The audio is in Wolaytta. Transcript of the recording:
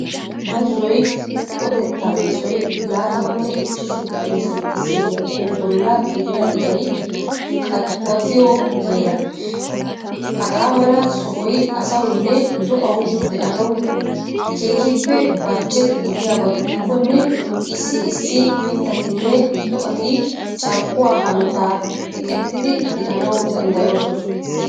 Bazzoy ho'otetta yesoy latamanne ichchashu digre centigrediyappe bolla gidida iray qaxwatiyo heeraa. Hagaa mala sohoy asawunne do'awu de'anawu kehippe barchche gidiyabagidikonne issi issi mittatinne do'ati carkkuwaa hanotaa eqettitidi danawu danddayosona.